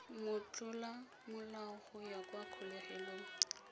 motlolamolao go ya kwa kgolegelong